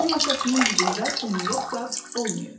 onun atasının cibində pulyot zad olmayıb.